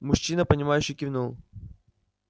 мужчина понимающе кивнул